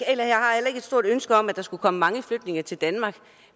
stort ønske om at der skulle komme mange flygtninge til danmark